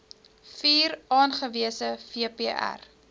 vier aangewese vpr